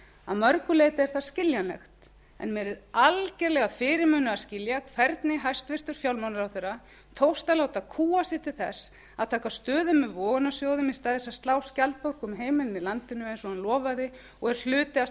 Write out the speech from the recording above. að mörgu leyti er það skiljanlegt en mér er algjörlega fyrirmunað að skilja hvernig hæstvirtur fjármálaráðherra tókst að láta kúga sig til þess að taka stöðu með vogunarsjóðum í stað þess að slá skjaldborg um heimilin í landinu eins og hann lofaði og er hluti af